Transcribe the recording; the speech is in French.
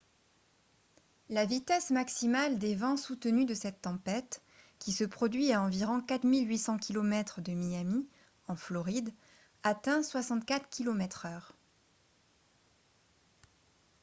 la vitesse maximale des vents soutenus de cette tempête qui se produit à environ 4 800 km de miami en floride atteint 64 km/h